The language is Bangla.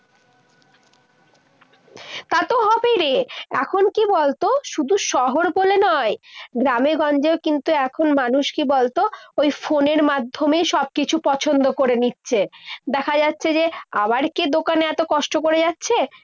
তা তো হবেই রে। এখন কি বলতো, শুধু শহর হলে নয়। গ্রামেগঞ্জেও কিন্তু এখন মানুষ কি বলতো ওই ফোনের মাধ্যমে সবকিছু পছন্দ করে নিচ্ছে। দেখা যাচ্ছে যে, আবার কে দোকানে এতো কষ্ট করে যাচ্ছে?